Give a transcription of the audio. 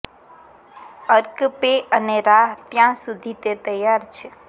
અર્ક પે અને રાહ ત્યાં સુધી તે તૈયાર છે